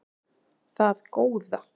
Það góða